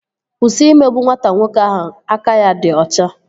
Kwụsị imegbu nwata nwoke ahụ aka ya dị ọcha!